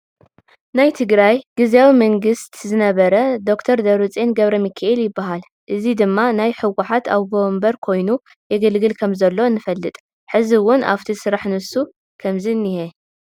ናይ ትግራይ ግዝያዊ መንግስት ዝነበረ ድ/ር ደብረፅዮን ገ/ሚካኤል ይበሃል ሕዚ ድማ ናይ ሕዋት ኣወንበር ኮይኑ ይግልግል ከም ዘሎ ንፍልጥ። ሕዚ እውን ኣፍቲ ስራሕ ንሱ ከም ዝንሂ